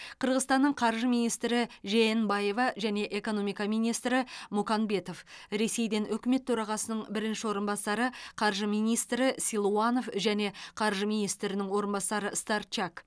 қырғызстаннан қаржы министрі жеенбаева және экономика министрі муканбетов ресейден үкімет төрағасының бірінші орынбасары қаржы министрі силуанов және қаржы министрінің орынбасары сторчак